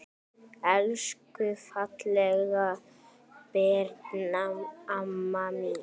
Elsku fallega Birna amma mín.